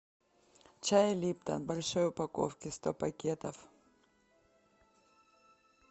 чай липтон в большой упаковке сто пакетов